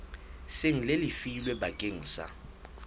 seng le lefilwe bakeng sa